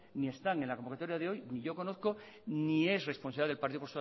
ni están en la convocatoria de hoy ni yo conozco ni es responsable el partido